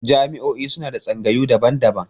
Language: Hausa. Jami'o'i suna da tsangayu daban-daban.